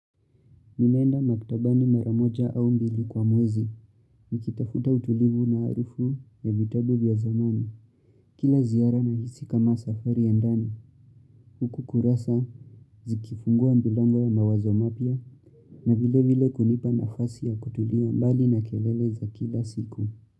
Nimeenda maktabani mara moja au mbili kwa mwezi. Nikitafuta utulivu na harufu ya vitabu vya zamani. Kila ziara nahisi kama safari ya ndani. Huku kurasa zikifungua milango ya mawazo mapya. Na vile vile kunipa nafasi ya kutulia mbali na kelele za kila siku.